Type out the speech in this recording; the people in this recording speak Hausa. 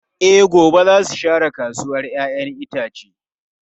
E, gobe za su share kasuwar ‘ya’yan itace.